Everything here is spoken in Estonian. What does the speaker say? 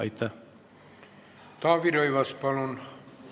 Taavi Rõivas, palun!